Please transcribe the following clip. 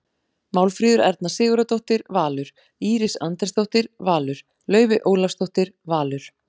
Málfríður Erna Sigurðardóttir- Valur Íris Andrésdóttir- Valur Laufey Ólafsdóttir- Valur